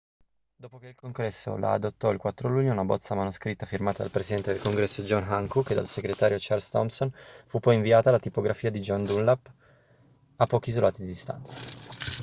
dopo che il congresso la adottò il 4 luglio una bozza manoscritta firmata dal presidente del congresso john hancock e dal segretario charles thomson fu poi inviata alla tipografia di john dunlap a pochi isolati di distanza